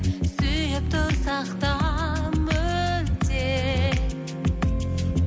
сүйіп тұрсақ та мүлде